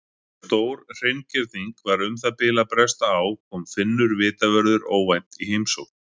Þegar stórhreingerning var um það bil að bresta á kom Finnur vitavörður óvænt í heimsókn.